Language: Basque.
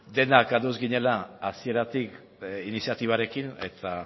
denak ados ginela hasieratik iniziatibarekin eta